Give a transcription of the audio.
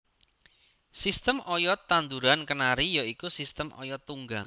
Sistem oyod tanduran kenari ya iku sistem oyod tunggang